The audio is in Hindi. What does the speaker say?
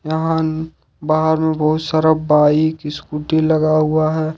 यहां बाहर में बहुत सारा बाइक स्कूटी लगा युवा है।